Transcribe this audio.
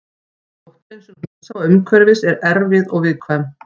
Sótthreinsun húsa og umhverfis er erfið og viðkvæm.